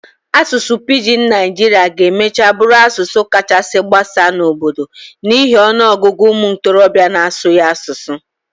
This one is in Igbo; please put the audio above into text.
Asụsụ Pijin Naijiria ga-emachaa bụrụ asụsụ kachasị gbasaa n'obodo a n'ihi ọnụ ọgụgụ ụmụ ntorobịa n'asụ ya asụsụ.